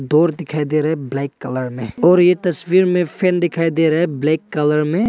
और दिखाई दे रहा है ब्लैक कलर में और ये तस्वीर में फैन दिखाई दे रहा है ब्लैक कलर में।